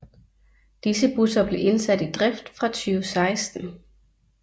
Disse busser blev indsat i drift fra 2016